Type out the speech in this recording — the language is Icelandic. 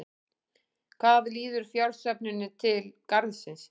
Hvað líður fjársöfnuninni til Garðsins?